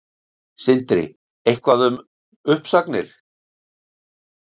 Sindri: Eitthvað um uppsagnir?